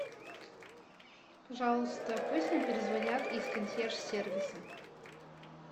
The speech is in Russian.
пожалуйста пусть мне перезвонят из консьерж сервиса